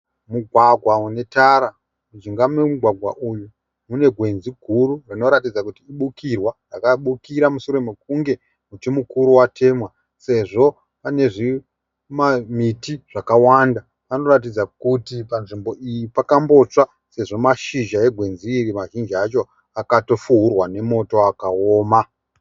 Mugwagwa unetara, mujinga memugwagwa uyu munegwenzi guru rinoratidza kuti ibukirwa rakabukira mushure mekunge muti mukuru watemwa sezvo panezvimamiti zvakawanda. Panoratidza kuti panzvimbo iyi pakambotsva sezvo mashizha egwenzi iri mazhinji acho akatofuurwa nemoto akaoma.